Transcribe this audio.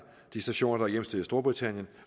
de stationer hjemsted i storbritannien